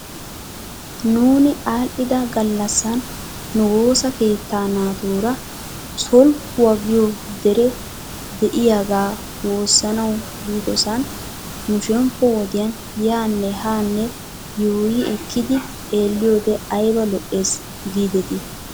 Nuuni aadhdhida gallassan nu woosa keettaa naatuura solkkuwaa giyoo deree de'iyaagaa woossanaw biidosan nu shemppo wodiyan yaane haanne yuuyi ekkidi xeelliyoode ayba lo'es giidetii?